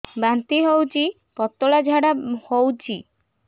ବାନ୍ତି ହଉଚି ପତଳା ଝାଡା ହଉଚି